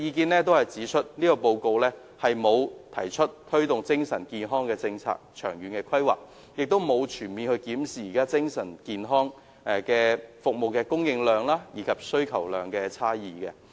他們均指出，《報告》沒有提出推動精神健康政策和長遠規劃，亦沒有全面檢視現時精神健康服務的供應和需求差異。